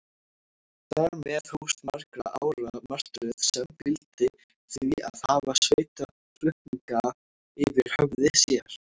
Þar með hófst margra ára martröð, sem fyldi því að hafa sveitarflutninga yfir höfði sér.